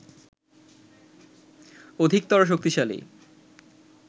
অধিকতর শক্তিশালী